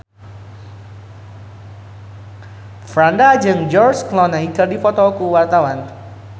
Franda jeung George Clooney keur dipoto ku wartawan